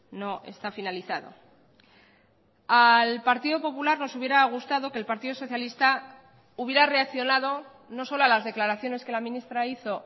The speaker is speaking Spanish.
no está finalizado al partido popular nos hubiera gustado que el partido socialista hubiera reaccionado no solo a las declaraciones que la ministra hizo